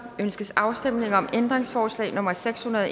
ønskes afstemning om ændringsforslag nummer seks hundrede og